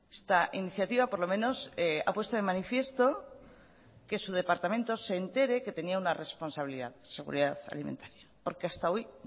esta iniciativa por lo menos ha puesto de manifiesto que su departamento se entere que tenía una responsabilidad de seguridad alimentaria porque hasta hoy